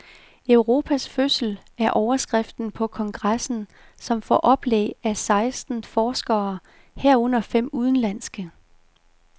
Europas fødsel er overskriften på kongressen, som får oplæg af seksten forskere, herunder fem udenlandske.